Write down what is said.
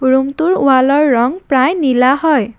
ৰূমটোৰ ৱালৰ ৰং প্ৰায় নীলা হয়।